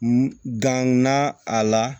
Danna a la